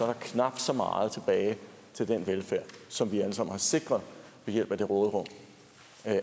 der knap så meget tilbage til den velfærd som vi alle sammen har sikret ved at det råderum